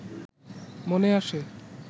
মনে আসে